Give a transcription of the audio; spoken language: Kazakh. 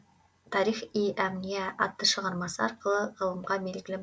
тарих и әмниа атты шығармасы арқылы ғылымға белгілі